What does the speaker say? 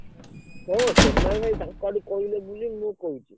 ହଁ ସୋନାଲ ଭାଇ ତାଙ୍କ ଆଡୁ କହିଲେ ବୋଲି ମୁଁ କହୁଛି।